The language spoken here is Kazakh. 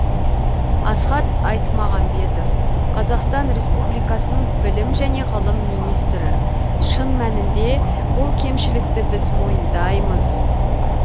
асхат айтмағамбетов қазақстан республикасының білім және ғылым министрі шын мәнінде бұл кемшілікті біз мойындаймыз